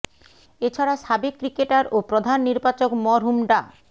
এ ছাড়া সাবেক ক্রিকেটার ও প্রধান নির্বাচক মরহুম ডা